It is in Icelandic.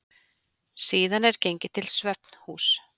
Síðan er gengið til svefnhúss.